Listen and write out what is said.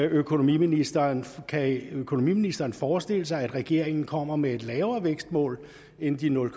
økonomiministeren kan økonomiministeren forestille sig at regeringen kommer med et lavere vækstmål end de nul